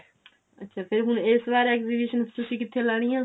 ਅੱਛਾ ਤੇ ਹੁਣ ਇਸ ਵਾਰ ਤੁਸੀਂ exhibition ਕਿੱਥੇ ਲਗਾਉਣੀ ਏ